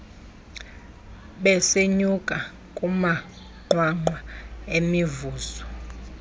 besenyuka kumanqwanqwa emivuzo